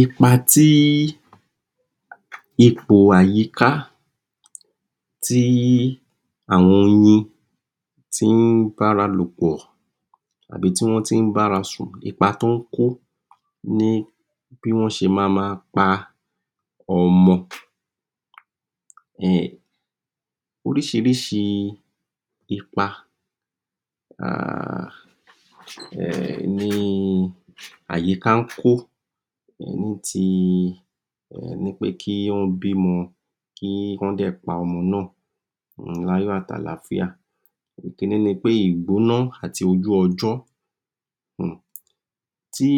Ipa tí ipò àyíká tí àwọn oyin tí wọ́n ń bára lò pọ̀ tàbí ibi tí wọ́n tí ń bá ara sùn ipa tí ó ń kó bí wọ́n ṣe máa máa pa ọmọ orísìírísìí ipa ni àyíká ń kó ní ti kí Wọ́n bí ọmọ kí Wọ́n sì pa ọmọ náà, ní Ayọ̀ àti àlàáfíà, ìyẹn ni pé ìgbóná àti ojú ọjọ́ tí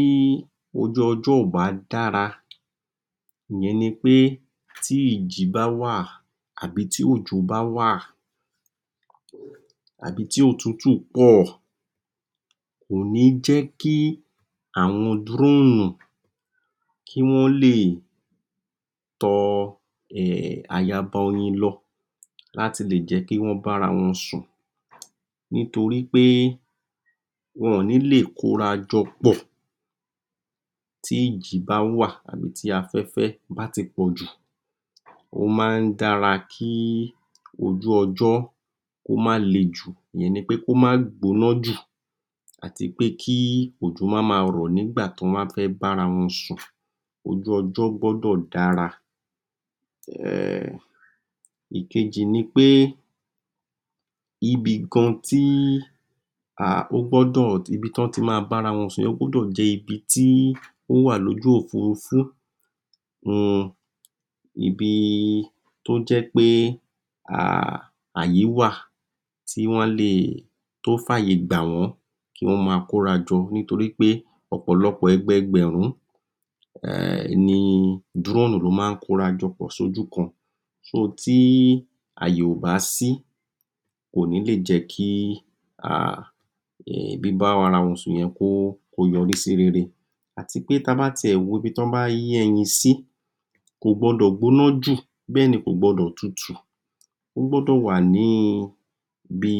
ojú ọjọ́ kò bá dára, ìyẹn ni pé tí ìjì bá wà tí òjò bá wà tàbí ibi tí òtútù pọ̀ kò ní jẹ́ kí àwọn droonù kí Wọ́n lè tọ ayaba oyin lọ láti le jẹ́ kí Wọ́n bá ara wọn sùn, nítorí pé wọn ò ní lè kóra jọ pọ̀ tí ìjì bá wà ní bi tí afẹ́fẹ́ bá ti pọ̀ jù,, nítorí pé wọn ò ní lè kóra jọ pọ̀ tí ìjì bá wà ó máa ń dára kí ojú ọjọ́ kó má le jù, ìyẹn ni pé kó má gbóná jù ìyẹn ni pé kí òjò má lọ rọ̀ nígbà tí wọ́n bá fẹ́ bá ara wọn sùn ojú ọjọ́ gbọ́dọ̀ dára, ìkejì ni pé ibì kan tí wọ́n ti máa bá ara wọn sùn ógbọ́dọ̀ jẹ́ ibi tí ó wà ní ibi ojú òpó opó, ibi tí ó jẹ́ pé ààyè wà ibi tí ó fàyè gbà wọ́n láti kóra jọ nítorí pé ọ̀pọ̀lọpọ̀ ẹgbẹẹgbẹ̀rún ni drone ni ó máa ń kóra jọ pọ̀ sójú kan tí àyè kò bá sí kò ní jẹ́ kí bíbá ara wọn sùn yẹn kó yọrí sí rere àti wí pé àti wí pé ibi tí wọ́n bá wo ibi tí wọn yé ẹyin sí kò gbọdọ̀ gbóná jù bẹ́ẹ̀ ni kò gbọdọ̀ tutù jù ó gbọ́dọ̀ wà ní bíi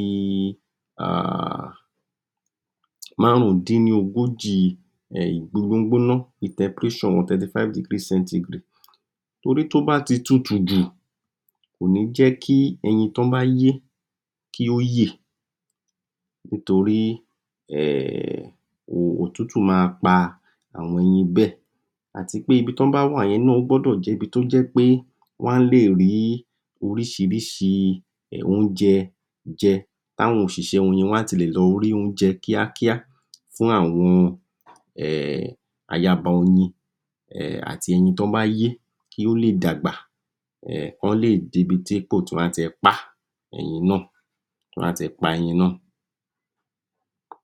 márùn dín ní ogójì gbígbóná Temperature 35 degree centigrade, torí tó bá ti tutù jù kò ní ‎Jẹ́ kí ẹyin tí wọ́n bá yé kí ó yè, nítorí òtútù máa pa ẹyin bẹ́ẹ̀ àti pé ibi tí wọ́n bá wà yẹn ó gbọ́dọ̀ jẹ́ ibi tí ó jẹ́ pé wọ́n lè rí orísìírísìí oúnjẹ jẹ kí àwọn òṣìṣẹ́ oyin wọ́n á ti lè lọ wá oúnjẹ kíákíá kí awọn ayaba oyin àti tí wọ́n yé kí Wọ́n lè dàgbà kí Wọ́n lè dé ipò tí ó yẹ kí Wọ́n dé, kí ó lè dé ipò tí wọ́n máa ti pa ẹyin naa. pa ẹyin naa.